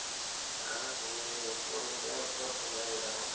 போனாலும் போவோம் கோயிலுக்கா ஒட்டுக்கா போல எல்லாரும்